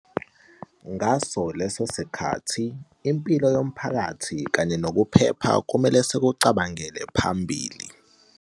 Ngaso leso sikhathi, impilo yomphakathi kanye nokuphepha kumele sikucabangele phambili.